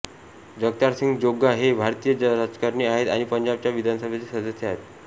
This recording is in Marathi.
जगतार सिंग जोग्गा हे एक भारतीय राजकारणी आहेत आणि पंजाबच्या विधानसभेचे सदस्य आहेत